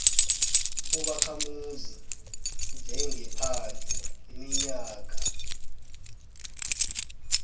ubakhamuzi njengephandle iminyaka